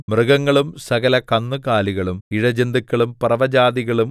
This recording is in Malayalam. മൃഗങ്ങളും സകല കന്നുകാലികളും ഇഴജന്തുക്കളും പറവജാതികളും